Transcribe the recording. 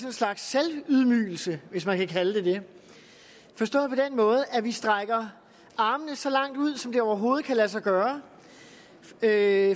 en slags selvydmygelse hvis man kan kalde det forstået på den måde at vi strækker armene så langt ud som det overhovedet kan lade sig gøre for at